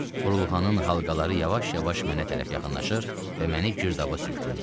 Burulğanın halqaları yavaş-yavaş mənə tərəf yaxınlaşır və məni girdaba sürükləyirdi.